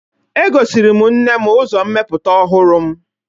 Egosiri m nne m uzommeputa ohuru m